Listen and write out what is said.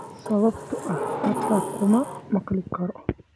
Sababtoo ah xitaa kuma maqli karo.